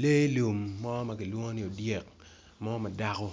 Lee lum mo makilwong ni odyek mo madako